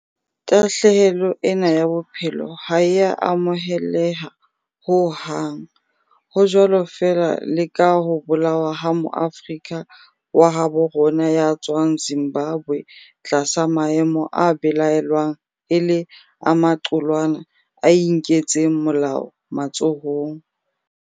Tahlehelo ena ya bophelo ha e a amoheleha ho hang, ho jwalo feela le ka ho bolawa ha Moafrika wa habo rona ya tswang Zimbabwe tlasa maemo a belaellwang e le a maqulwana a inketseng molao matsohong.